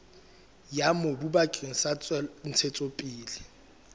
ya mobu bakeng sa ntshetsopele